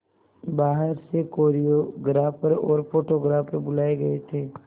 बाहर से कोरियोग्राफर और फोटोग्राफर बुलाए गए थे